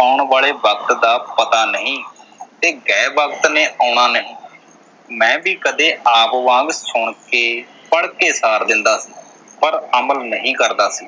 ਆਉਣ ਵਾਲੇ ਵਕ਼ਤ ਦਾ ਪਤਾ ਨਹੀਂ ਤੇ ਗਏ ਵਕ਼ਤ ਨੇ ਆਉਣਾ ਨਹੀਂ ਮੈਂ ਵੀ ਕਦੇ ਆਪ ਵਾਂਗ ਸੁਣ ਕੇ, ਪੜ੍ਹਕੇ ਸਾਰ ਦਿੰਦਾ ਸੀ। ਪਰ ਅਮਲ ਨਹੀਂ ਕਰਦਾ ਸੀ।